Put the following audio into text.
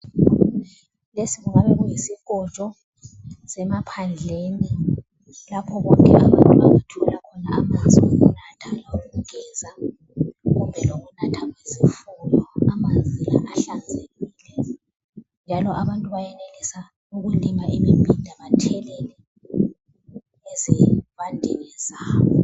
Lesi kungabe kuyisikotsho semaphandleni lapho abantu abathola khona amanzi lawo kugeza, kumbe lokunatha izifuyo. Amanzi la ahlanzekile njalo abantu bayenelisa ukulima imibhida bathelelele ezivandeni zabo.